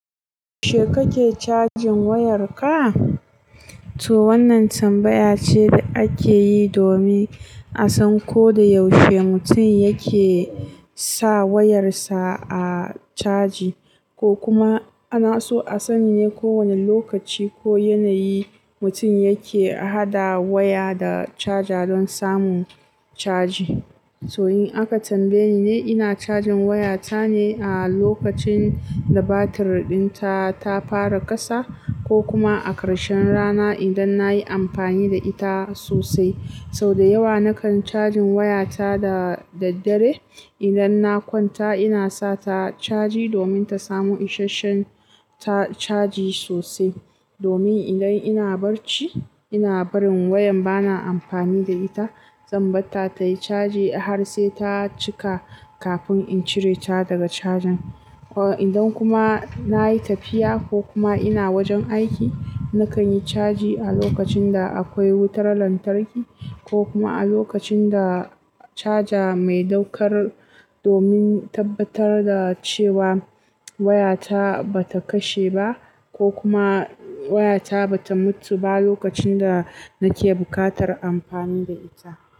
She kake cajin wayar ka to wannan tambaya ce da ake yi domin a san ko da yaushe mutum yake sa wayarsa a caji, ko kuma ana so a sani ne ko wane lokaci ko yanayi mutum yake haɗa waya da caja don samun caji. To in aka tambaye ni, ni ina cajin wayata ne a lokacin da batir ɗinta ta fara ƙasa, ko kuma a karshen rana idan na yi amfani da ita sosai. So da yawa nakan cajin wayata da daddare. Idan na kwanta ina sa ta caji domin ta samu ishasshen caji sosai. Domin idan ina barci, ina barin waya bana amfani da ita, zan bata tayi caji har sai ta cika kafin in cire ta daga cajin. Idan kuma na yi tafiya ko kuma ina wajen aiki, nakan yi caji a lokacin da akwai wutar lantarki ko kuma a lokacin da caja mai ɗaukar domin tabbatar da cewa wayata ba ta kashe ba ko kuma wayata ba ta mutu ba lokacin da nake buƙatar amfani da ita.